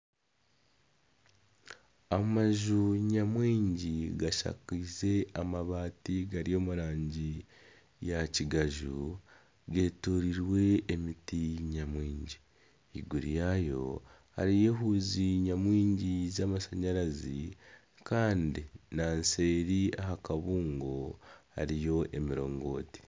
Amaju nyamwingi gashakiize amabati gari omu rangi ya kigaju getoreirwe emiti nyamwingi. Ahaiguru yaayo hariyo waaya nyamwingi z'amashanyarazi Kandi ahaseeri aha kabungo hariyo emirongoti.